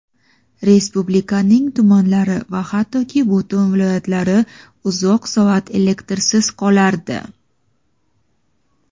Respublikaning tumanlari va hattoki butun viloyatlari uzoq soat elektrsiz qolardi.